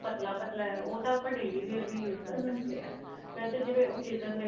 ਪਤਲਾ ਪਤਲਾ ਉਹ ਤਾਂ daily wear ਵੀ use ਕਰ ਸਕਦੇ ਵੇਸੇ ਜਿਵੇਂ occasion